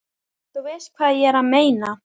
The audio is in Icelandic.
Þú veist hvað ég er að meina.